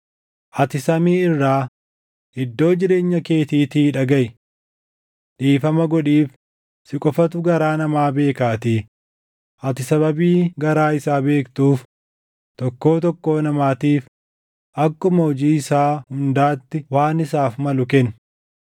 ati samii irraa, iddoo jireenya keetiitii dhagaʼi. Dhiifama godhiif; si qofatu garaa namaa beekaatii, ati sababii garaa isaa beektuuf tokkoo tokkoo namaatiif akkuma hojii isaa hundaatti waan isaaf malu kenni;